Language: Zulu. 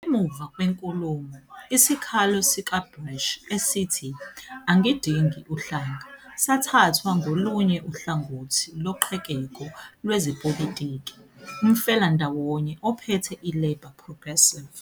Emuva kwenkulumo, isikhalo sikaBrash esithi "angidingi uhlanga" sathathwa ngolunye uhlangothi loqhekeko lwezepolitiki, umfelandawonye ophethe iLabour - Progressive.